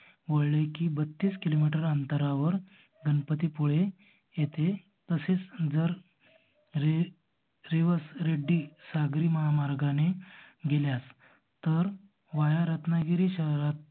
वळले की बत्तीस किलो मीटर अंतरावर गणपती पुळे येथे तसेच जर रे रेवस रेड्डी सागरी महामार्गाने गेल्यास तर वाया रत्नागिरी शहरात